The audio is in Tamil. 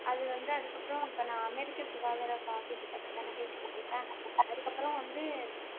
அது வந்து அதுக்கப்புறம் இப்ப நான் அமெரிக்கா சுகாதார காப்பீட்டு திட்ட பேசிக்கிட்டு இருக்கேன் அதுக்கப்புறம் வந்து